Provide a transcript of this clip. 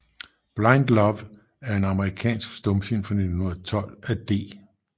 Blind Love er en amerikansk stumfilm fra 1912 af D